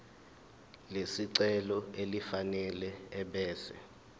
lesicelo elifanele ebese